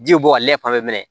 Ji bɛ bɔ ale fan bɛɛ